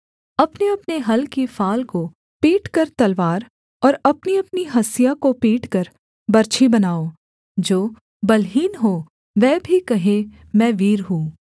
अपनेअपने हल की फाल को पीटकर तलवार और अपनीअपनी हँसिया को पीटकर बर्छी बनाओ जो बलहीन हो वह भी कहे मैं वीर हूँ